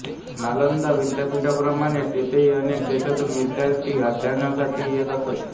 नालंदा विद्यापीठाप्रमाणेच येथेही अनेक देशांतून विद्यार्थी अध्ययनासाठी येत असत